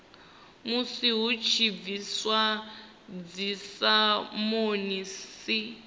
musi hu tshi bviswa dzisamonisi